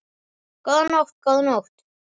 Góða nótt, góða nótt.